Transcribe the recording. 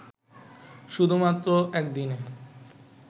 শুধুমাত্র একদিনে